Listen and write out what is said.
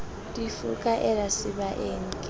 di fokaela sebaeng ke o